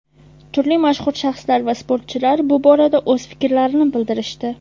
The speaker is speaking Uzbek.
turli mashhur shaxslar va sportchilar bu borada o‘z fikrlarini bildirishdi.